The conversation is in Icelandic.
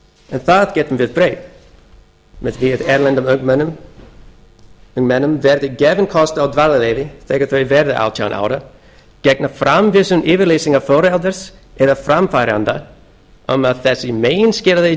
en því getum við breytt með því að erlendum ungmennum verði gefinn kostur á dvalarleyfi þegar þau verða átján ára gegn framvísun yfirlýsingar foreldris eða framfæranda um að þessu meginskilyrði